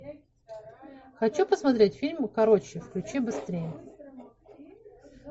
хочу посмотреть фильм короче включи быстрее